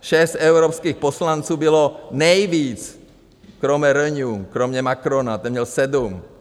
Šest evropských poslanců bylo nejvíc, kromě Renew, kromě Macrona, ten měl sedm.